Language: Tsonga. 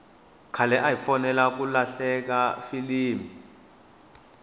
khale ahi folela ku hlalela filimi